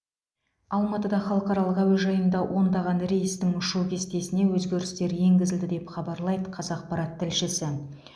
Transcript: алматыда халықаралық әуежайында ондаған рейстің ұшу кестесіне өзгерістер енгізілді деп хабарлайды қазақпарат тілшісі